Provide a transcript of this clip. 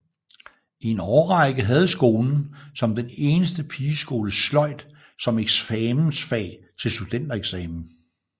I en årrække havde skolen som den eneste pigeskole sløjd som eksamensfag til studentereksamen